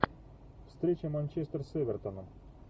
встреча манчестер с эвертоном